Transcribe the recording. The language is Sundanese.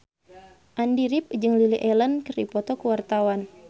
Andy rif jeung Lily Allen keur dipoto ku wartawan